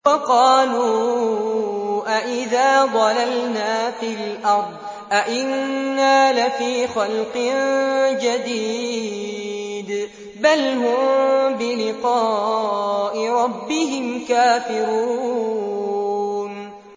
وَقَالُوا أَإِذَا ضَلَلْنَا فِي الْأَرْضِ أَإِنَّا لَفِي خَلْقٍ جَدِيدٍ ۚ بَلْ هُم بِلِقَاءِ رَبِّهِمْ كَافِرُونَ